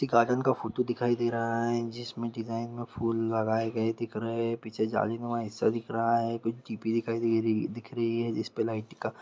एक गार्डन का फोटो दिखाई दे रहा है जिसमे मे डिजाइन व फूल लगाए गए दिख रहे है पीछे जाली नुमा हिस्सा दिख रहा है कोई दिख रही है जिस पे लाइटिंग का--